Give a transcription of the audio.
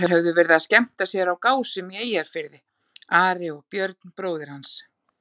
Þeir höfðu verið að skemmta sér á Gásum í Eyjafirði, Ari og Björn bróðir hans.